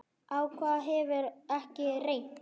Á hvað hefur ekki reynt?